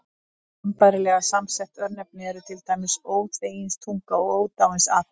Sambærilega samsett örnefni eru til dæmis Óþveginstunga og Ódáinsakur.